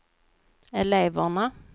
eleverna